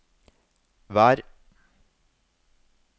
vær